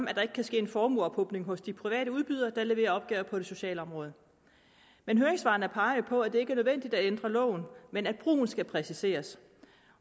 at der ikke kan ske en formueophobning hos de private udbydere der leverer opgaver på det sociale område men høringssvarene peger jo på at det ikke er nødvendigt at ændre loven men at brugen skal præciseres